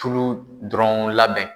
Tulu dɔrɔn labɛn.